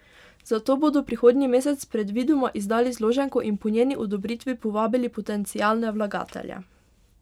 Zato bodo prihodnji mesec predvidoma izdali zloženko in po njeni odobritvi povabili potencialne vlagatelje.